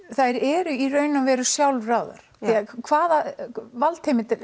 þær eru í raun og veru sjálfráðar eða hvaða valdheimildir